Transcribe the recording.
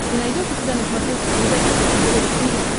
ты найдешь у себя на смотрешке передачу фэшен тв четыре к